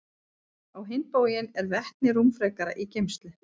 Á hinn bóginn er vetni rúmfrekara í geymslu.